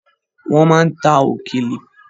Wọ́n ma ń ta òkèlè.